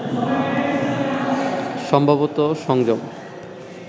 সম্ভবত সংযম